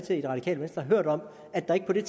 i